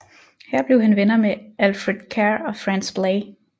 Her blev han venner med Alfred Kerr og Franz Blei